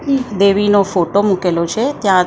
દેવીનો photo મુકેલો છે ત્યાં એક બે--